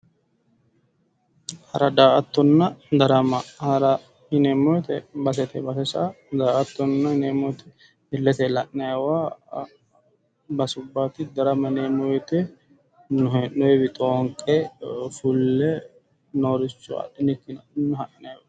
Hara, daa'atanna darama, hara yineemmo woyiite basetenni base sa'a daa'attona yineemmoti illete la'nayiiwa basubbaati, darama yineemmo woyiite hee'noyiiwi xoinqe fulle nooricho adhinikkinni ha'nayiwaati.